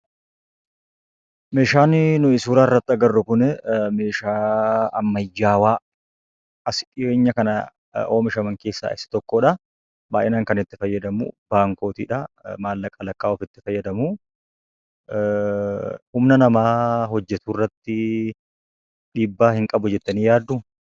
Meeshaanii nuyi suuraa irratti agarru kunii meeshaa ammayyaawaa as dhiyeenya kana oomishaman keessaa isa tokkodha. Baay'inaan kan itti fayyadamu baankotidha. Maallaqa lakkaa'uuf itti fayyadamuu; Humna namaa hojjetu irratti dhiibbaa hin qabu jettanii yaadduu?